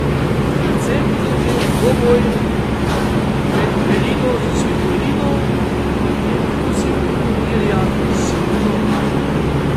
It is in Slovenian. Predvsem bo zanimiv dvoboj med Elino Svitolino in tretjo nosilko turnirja Simono Halep.